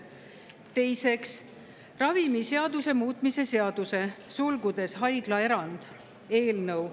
Teiseks, ravimiseaduse muutmise seaduse eelnõu.